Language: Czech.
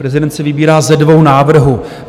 Prezident si vybírá ze dvou návrhů.